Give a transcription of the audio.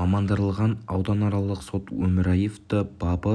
мамандандырылған ауданаралық соты өмірияевты бабы